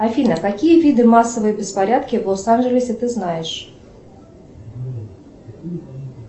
афина какие виды массовые беспорядки в лос анджелесе ты знаешь